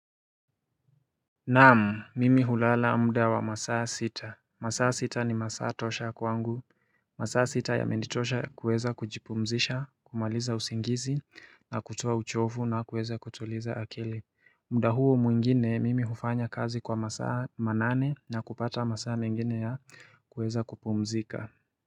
Naamu, mimi hulala mda wa masaa sita. Masaa sita ni masaa tosha kwangu. Masaa sita yamenitosha kuweza kujipumzisha, kumaliza usingizi, na kutua uchofu, na kuweza kutuliza akili. Mida huo muingine, mimi hufanya kazi kwa masaa manane na kupata masaa mengine ya kuweza kupumzika.